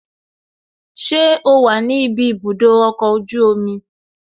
Ṣé o wà ní ibi ibùdó ọkọ̀ ojú omi?